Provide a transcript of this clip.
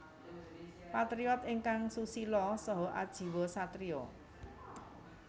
Patriyot ingkang susila saha ajiwa satriya